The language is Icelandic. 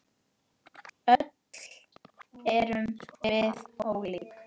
Öll erum við ólík.